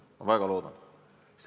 Ma väga loodan!